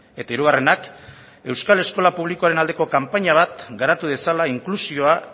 eta hirugarrenak euskal eskola publikoaren aldeko kanpaina bat garatu dezala inklusioa